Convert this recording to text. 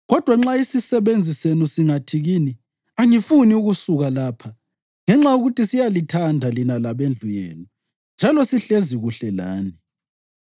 Kodwa nxa isisebenzi senu singathi kini, ‘Angifuni ukusuka lapha,’ ngenxa yokuthi siyalithanda lina labendlu yenu njalo sihlezi kuhle lani,